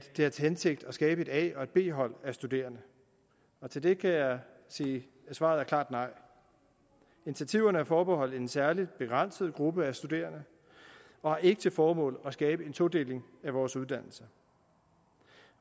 har til hensigt at skabe et a og et b hold af studerende til det kan jeg sige svaret er klart nej initiativerne er forbeholdt en særlig begrænset gruppe af studerende og har ikke til formål at skabe en todeling af vores uddannelser